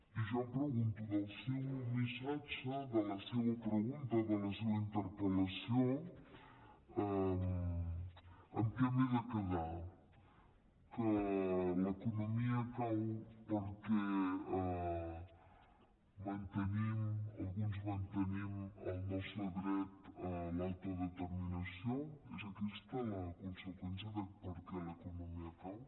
i jo em pregunto del seu missatge de la seva pregunta de la seva interpel·lació amb què m’he de quedar que l’economia cau perquè alguns mantenim el nostre dret a l’autodeterminació és aquesta la conseqüència de per què l’economia cau